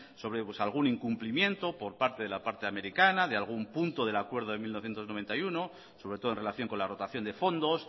sobre algún incumplimiento por parte de la parte americana de algún punto del acuerdo de mil novecientos noventa y uno sobre todo en relación con la rotación de fondos